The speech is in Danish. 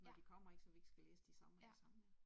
Ja. Ja